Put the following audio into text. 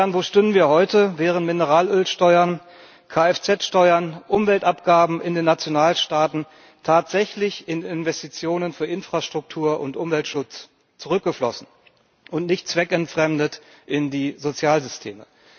Wo stünden wir heute, wären Mineralölsteuern, Kfz Steuern, Umweltabgaben in den Nationalstaaten tatsächlich in Investitionen für Infrastruktur und Umweltschutz zurückgeflossen und nicht zweckentfremdet in die Sozialsysteme?